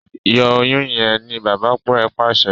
Yọ Oyún yén! ní bàbá rẹ pàṣẹ.